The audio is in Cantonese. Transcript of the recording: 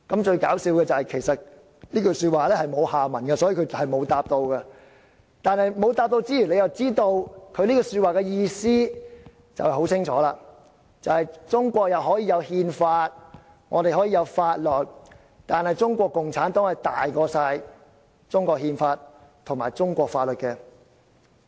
"最有趣的是，其實這句話沒有下文，所以他並沒有回答，但沒有回答之餘，你又會清楚知道他這句話的意思，便是中國可以有憲法，可以有法律，但中國共產黨大於中國憲法及中國法律。